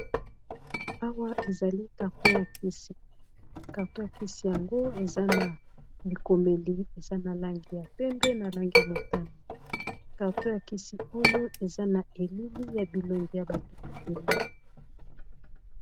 Awa, ezali karton ya kisi. Karton ya kisi yango, eza na likomeli. Eza na langi ya pembe, na langi ya motani. Karton ya kisi oyo, eza na elili ya bilongi ya bato ebele.